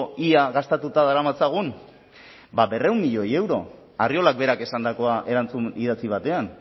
ia gastatuta daramatzagun bada berrehun milioi euro arriolak berak esandakoa erantzun idatzi batean